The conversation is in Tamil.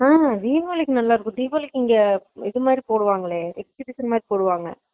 ஆமா தீவாளிக்கு நல்லா இருக்கும், தீவாளிக்கு இங்க இதுமாதிரி போடுவாங்க இது edubition மாறி போடுவாங்க